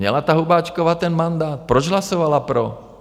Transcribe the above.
Měla ta Hubáčková ten mandát, proč hlasovala pro?